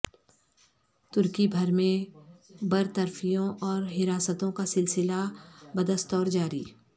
ترکی بھر میں برطرفیوں اور حراستوں کا سلسلہ بدستور جاری